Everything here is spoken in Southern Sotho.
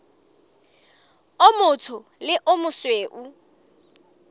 o motsho le o mosweu